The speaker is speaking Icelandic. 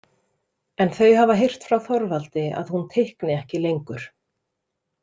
En þau hafa heyrt frá Þorvaldi að hún teikni ekki lengur.